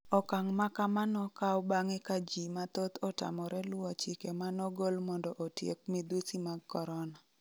okang' makama nokaw bang'e ka jii mathoth otamore luwo chike manogol mondo otiek midhusi mag korona